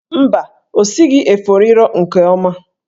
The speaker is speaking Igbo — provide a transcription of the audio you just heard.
Mba, o sighi efo riro nke oma.